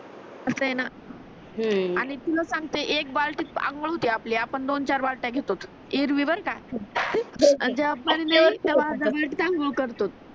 अस आहे न हम्म आणि तुले सांगतो एक बालटीत आंघोळ होते आपली आपण दो चार बालत्या घेतोत इरवी वर नाहीका